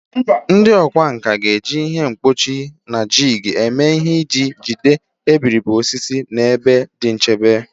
Ndị ọkwá nkà ga-eji ihe mkpọchi na jig eme ihe iji jide iberibe osisi n'ebe dị nchebe.